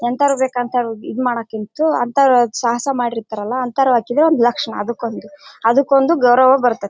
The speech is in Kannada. ಇಂಥವರು ಬೇಕಂತ ಈದ್ ಮಾಡಕ್ಕಿಂತ ಅಂತವರ ಸಾಹಸ ಮಾಡಿರ್ತಾರಲ್ಲ ಅಂತವರು ಹಾಕಿದ್ರೆ ಒಂದು ಲಕ್ಷಣ ಅಂದುಕೊಂದು ಅಂದುಕೊಂದು ಗೌರವ ಬರ್ತಾತ್ತಿ.